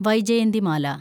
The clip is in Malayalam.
വൈജയന്തിമാല